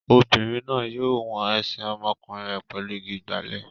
Obìnrin náà yóò wọn ẹsẹ̀ ọmọkùnrin rẹ̀ pẹ̀lú igi ìgbálè.